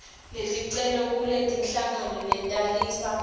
leticelo kulenhlangano letalisa